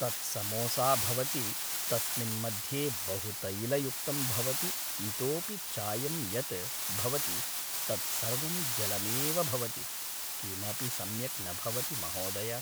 तत्समोसा भवति तस्मिन् मध्ये बहु तैलयुक्तं भवति इतोपि चायं यत् भवति तत् सर्वं जलमेव भवति किमपि सम्यक् न भवति महोदय